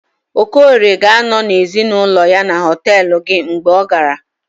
okorie ga-anọ na ezinụlọ ya na họtelu gị mgbe ọ gara